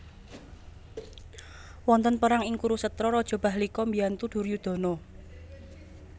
Wonten perang ing Kurusetra Raja Bahlika mbiyantu Duryudana